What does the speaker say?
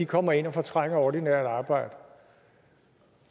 kommer ind og fortrænger ordinært arbejde